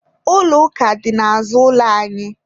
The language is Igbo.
Ụlọ ụka dị n'azụ ụlọ anyị.